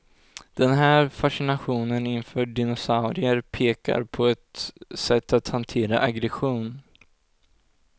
Den här fascinationen inför dinosaurier pekar på ett sätt att hantera aggression.